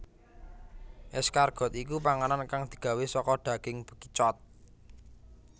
Escargot iku panganan kang digawé saka daging bekicot